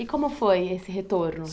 E como foi esse retorno?